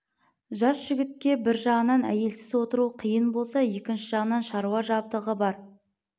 жас жігітке бір жағынан әйелсіз отыру қиын болса екінші жағынан шаруа жабдығы бар